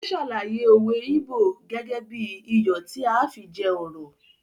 Ó sàlàyé òwe íbò gẹ́gẹ́ bí i “ iyọ̀ tí à á fi jẹ ọ̀rọ̀ ”.